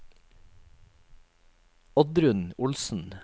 Oddrun Olsen